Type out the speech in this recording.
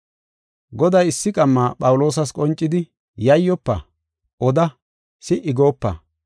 Goday issi qamma Phawuloosas qoncidi, “Yayyofa; oda, si77i goopa.